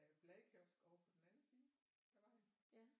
Bladkiosk ovre på den anden side af vejen